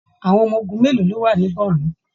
Àwọn ọmọ ogun mélòó ló wà ní Bornu?